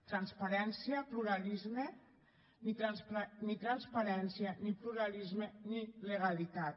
transparència pluralisme ni transparència ni pluralisme ni legalitat